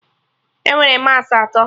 Enwere massị atọ